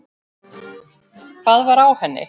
Hvað var á henni?